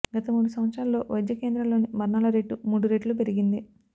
గత మూడు సంవత్సరాల్లో వైద్య కేంద్రాల్లోని మరణాల రేటు మూడు రెట్లు పెరిగింది